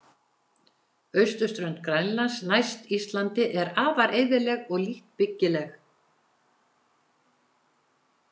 Austurströnd Grænlands næst Íslandi er afar eyðileg og lítt byggileg.